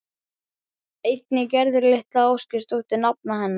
Einnig Gerður litla Ásgeirsdóttir nafna hennar.